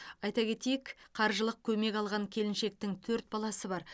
айта кетейік қаржылай көмек алған келіншектің төрт баласы бар